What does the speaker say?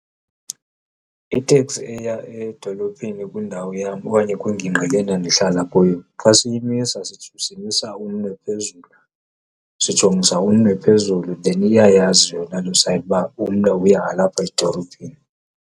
Iteksi eya edolophini kwindawo yam okanye kwingingqi le ndandihlala kuyo xa siyimisa simisa umnwe phezulu sijongisa umnwe phezulu then iyayazi yona loo sayini uba umnwe uya lapha edolophini.